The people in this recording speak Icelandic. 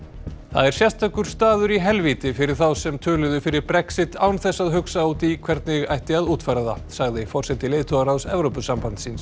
það er sérstakur staður í helvíti fyrir þá sem töluðu fyrir Brexit án þess að hugsa út í hvernig ætti að útfæra það sagði forseti leiðtogaráðs Evrópusambandsins